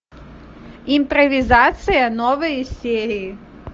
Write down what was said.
импровизация новые серии